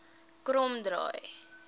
kromdraai